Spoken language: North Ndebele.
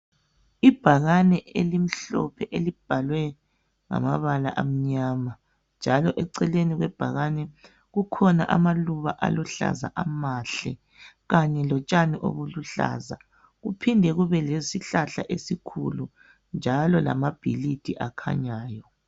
Ibhakane elimhlophe elibhalwe ngamabala amnyama njalo eceleni kwebhakane kukhona amaluba aluhlaza amahle kanye lotshani obuluhlaza kuphinde kube lesihlahla esikhulu njalo lamabhilidi akhanyayo.